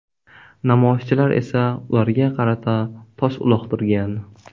Namoyishchilar esa ularga qarata tosh uloqtirgan.